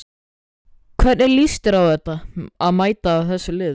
Hvernig líst þér á að mæta þessum liðum?